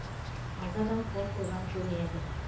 алты адам қол қойған көрінеді